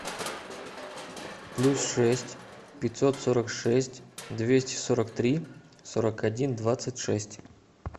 плюс шесть пятьсот сорок шесть двести сорок три сорок один двадцать шесть